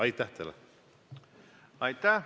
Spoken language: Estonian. Aitäh!